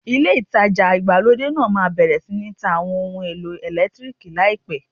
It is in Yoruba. Ilé ìtajà ìgbàlódé náà máa bẹ̀rẹ̀ sí ń ta Àwọn ohun èlò ẹ̀lẹ́tíríìkì láìpẹ́.